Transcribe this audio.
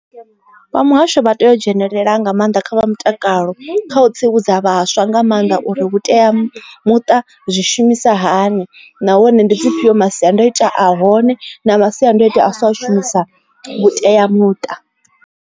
Vha muhasho vha tea u dzhenelela nga maanḓa kha mutakalo kha u tsivhudza vhaswa nga maanḓa uri vhutea muṱa zwi shumisa hani nahone ndi dzi fhio masiandoitwa a hone na masiandoitwa a si a shumisa vhuteamuṱa.